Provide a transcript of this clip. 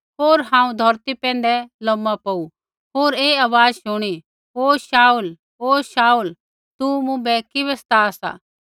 होर हांऊँ धौरती पैंधै लोमा पौऊ होर ऐ आवाज़ शुणी हे शाऊल हे शाऊल तू मुँभै किबै सता सा